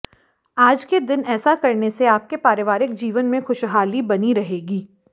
आज के दिन ऐसा करने से आपके पारिवारिक जीवन में खुशहाली बनी रहेगी